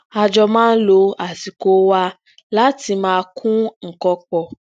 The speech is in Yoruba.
a jọ máa ń lo asiko wa lati maa kun nnkan pọ